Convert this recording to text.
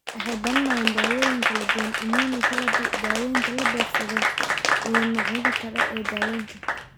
Waxay baranayaan dawooyin kala duwan, immunotherapy, daawaynta la beegsaday, iyo noocyada kale ee daawaynta.